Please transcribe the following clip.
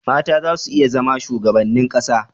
mata za su iya zama shugabannin ƙasa